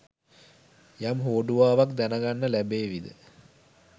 යම් හෝඩුවාවක් දැනගන්න ලැබේවිද?